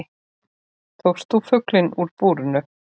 Tókst þú fuglinn úr búrinu?